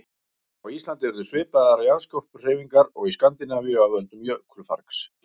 Á Íslandi urðu svipaðar jarðskorpuhreyfingar og í Skandinavíu af völdum jökulfargs.